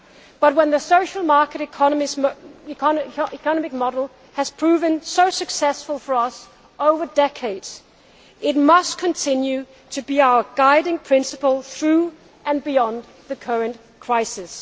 confidence. But when the social market economic model has proven so successful for us over the decades, it must continue to be our guiding principle through and beyond the current